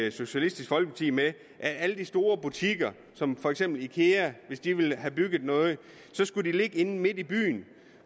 i socialistisk folkeparti med at alle de store butikker som for eksempel ikea hvis de vil have bygget noget skulle ligge inde midt i byen